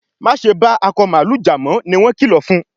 Ma ṣe ba Akọ mààlúù já mọ! ní wón kìlọ fún.